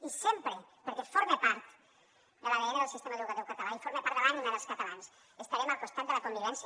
i sempre perquè forma part de l’adn del sistema educatiu català i forma part de l’ànima dels catalans estarem al costat de la convivència